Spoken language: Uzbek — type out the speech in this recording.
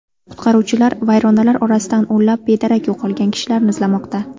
Qutqaruvchilar vayronalar orasidan o‘nlab bedarak yo‘qolgan kishilarni izlamoqda.